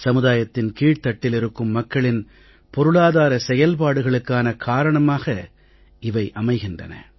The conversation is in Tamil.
சமுதாயத்தின் கீழ்த்தட்டில் இருக்கும் மக்களின் பொருளாதார செயல்பாடுகளுக்கான காரணமாக இவை அமைகின்றன